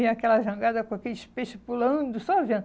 Vinha aquela jangada com aqueles peixes pulando, só vendo.